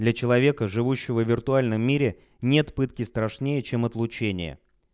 для человека живущего в виртуальном мире нет пытки страшнее чем отлучение